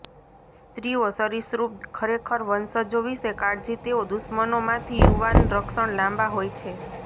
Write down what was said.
સ્ત્રીઓ સરિસૃપ ખરેખર વંશજો વિશે કાળજી તેઓ દુશ્મનો માંથી યુવાન રક્ષણ લાંબા હોય છે